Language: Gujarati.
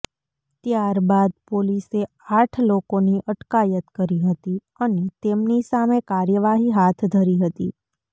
ત્યારબાદ પોલીસે આઠ લોકોની અટકાયત કરી હતી અને તેમની સામે કાર્યવાહી હાથ ધરી હતી